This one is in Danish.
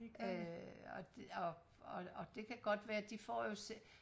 øh og og og og det kan jo godt være de får jo selv